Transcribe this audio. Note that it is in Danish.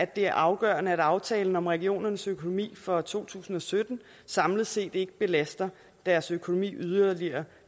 det er afgørende at aftalen om regionernes økonomi for to tusind og sytten samlet set ikke belaster deres økonomi yderligere